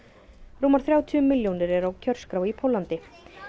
rúmar þrjátíu milljónir eru á kjörskrá í Póllandi